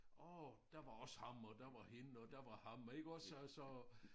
Åh der var også ham og der var hende og der var ham iggås altså